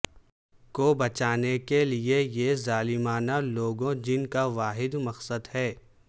کو بچانے کے لئے یہ ظالمانہ لوگوں جن کا واحد مقصد ہے